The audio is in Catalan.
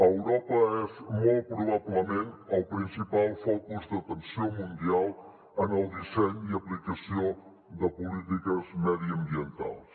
europa és molt probablement el principal focus d’atenció mundial en el disseny i aplicació de polítiques mediambientals